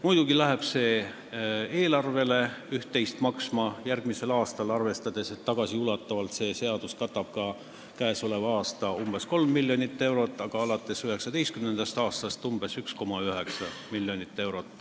Muidugi läheb see eelarvele järgmisel aastal üht-teist maksma, arvestades, et tagasiulatuvalt katab see seadus ka käesoleva aasta umbes 3 miljonit eurot, aga alates 2019. aastast on see summa umbes 1,9 miljonit eurot.